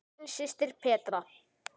Þín systir, Petra.